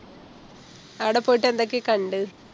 ആട പോയിട്ട് എന്തൊക്കെയാ കണ്ടത്